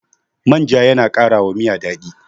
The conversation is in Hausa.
manja yana ƙara wa Miya daɗi